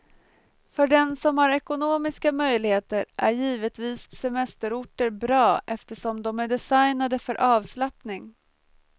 För den som har ekonomiska möjligheter är givetvis semesterorter bra eftersom de är designade för avslappning.